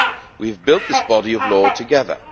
We have built this body of law together.